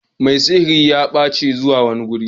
Mai sihiri ya bace zuwa wani gurin.